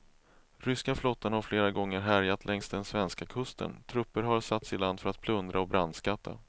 Ryska flottan har flera gånger härjat längs den svenska kusten, trupper har satts i land för att plundra och brandskatta.